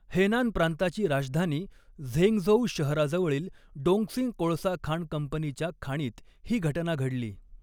Henan प्रांताची राजधानी Zhengzhou शहराजवळील डोंगक्सिंग कोळसा खाण कंपनीच्या खाणीत ही घटना घडली.